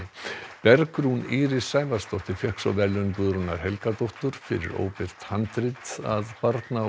Bergrún Íris Sævarsdóttir fékk svo verðlaun Guðrúnar Helgadóttur fyrir óbirt handrit að barna og